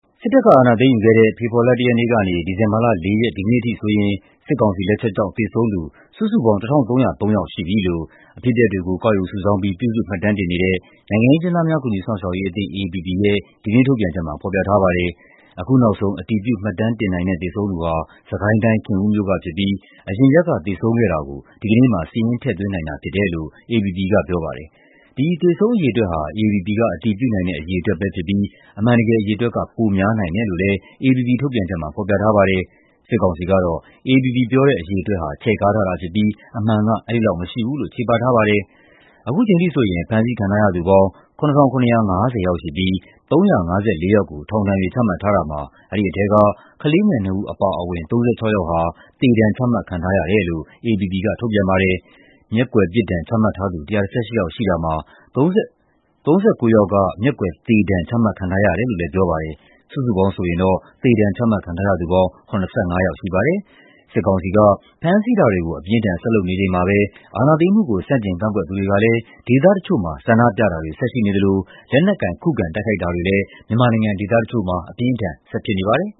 စစ်တပ်အာဏာသိမ်းယူခဲ့တဲ့ ဖေဖော်ဝါရီလ ၁ ရက်နေ့က ဒီဇင်ဘာလ ၄ ရက် ဒီကနေ့အထိဆိုရင် စစ်ကောင်စီရဲ့ လက်ချက်ကြောင့် သေဆုံးသူ စုစုပေါင်း ၁,၃၀၃ ယောက်ရှိပြီလို့ အဖြစ်အပျက်တွေကို ကောက်ယူစုဆောင်းပြီး ပြုစုမှတ်တမ်းတင်နေတဲ့ နိုင်ငံရေးအကျဉ်းသားများ ကူညီစောင့်ရှောက်ရေးအသင်း (AAPP) ရဲ့ ဒီကနေ့ ထုတ်ပြန်ချက်မှာ ဖော်ပြထားပါတယ်။ အခုနောက်ဆုံး အတည်ပြု မှတ်တမ်းတင်နိုင်တဲ့ သေဆုံးသူဟာ စစ်ကိုင်းတိုင်း၊ ခင်ဦးမြို့ကဖြစ်ပြီး အရင်ရက်က သေဆုံးခဲ့တာကို ဒီကနေ့မှာ စာရင်းထည့်သွင်းနိုင်တာ ဖြစ်တယ်လို့ AAPP က ပြောပါတယ်။ ဒီသေဆုံးအရေအတွက်ဟာ AAPP က အတည်ပြုနိုင်တဲ့ အရေအတွက်ပဲဖြစ်ပြီး အမှန်တကယ် အရေအတွက်က ပိုများနိုင်တယ်လို့ AAPP ထုတ်ပြန်ချက်မှာ ဖော်ပြထားပါတယ်။ စစ်ကောင်စီကတော့ AAPP ရဲ့ အရေအတွက်ဟာ ချဲ့ကားထားတာဖြစ်ပြီး အမှန်က အဲဒီလောက်မရှိဘူးလို့ ချေပထားပါတယ်။ အခုချိန်ထိဆိုရင် ဖမ်းဆီးခံထားရသူပေါင်း ၇,၇၅၀ ယောက်ရှိပြီး ၃၅၄ ယောက်ကို ထောင်ဒဏ်တွေ ချမှတ်ထားတာမှာ အဲဒီထဲက ကလေးငယ် ၂ ဦး အပါအဝင် ၃၆ ယောက်ဟာ သေဒဏ်ချမှတ်ခံထားရတယ်လို့ AAPP က ထုတ်ပြန်ပါတယ်။ မျက်ကွယ်ပြစ်ဒဏ် ချမှတ်ထားသူ ၁၁၈ ယောက်ရှိတာမှာ ၃၉ ယောက်က မျက်ကွယ်သေဒဏ် ချမှတ်ခံထားရတယ်လို့လည်း ပြောပါတယ်။ စုစုပေါင်းဆိုရင် သေဒဏ်ချမှတ်ခံထားရသူပေါင်း ၇၅ ယောက်ရှိပါတယ်။ စစ်ကောင်စီက ဖမ်းဆီးတာတွေကို အပြင်းအထန် ဆက်လုပ်နေချိန်မှာပဲ အာဏာသိမ်းမှုကို ဆန့်ကျင်ကန့်ကွက်သူတွေကလည်း ဒေသတချို့မှာ ဆန္ဒပြတာတွေ ဆက်ရှိနေသလို လက်နက်ကိုင် ခုခံတိုက်ခိုက်တာတွေလည်း မြန်မာနိုင်ငံ ဒေသတချို့မှာ ဆက်ဖြစ်နေပါတယ်